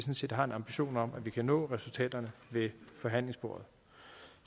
har en ambition om at nå resultaterne ved forhandlingsbordet